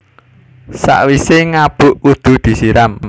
Sakwisé ngabuk kudu disiram